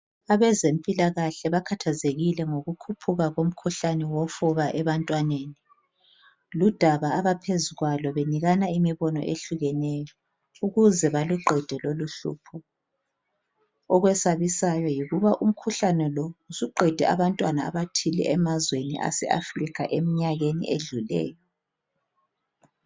Abazempilakahle bakhathazekile ngokukhuphuka komkhuhlane wofuba ebantwaneni, ludaba abaphezu kwalo benikana imibono ehlukeneyo ukuze baluqede loluhlupho, okwesabisayo yikuba umkhuhlane lo suqede abantwana abathile emazweni ase Africa emnyakeni edluleyo.